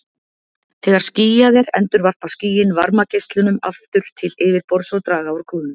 Þegar skýjað er endurvarpa skýin varmageislum aftur til yfirborðs og draga úr kólnun.